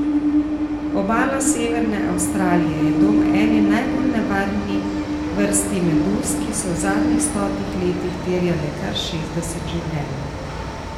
Obala severne Avstralije je dom eni najbolj nevarni vrsti meduz, ki so v zadnjih stotih letih terjale kar šestdeset življenj.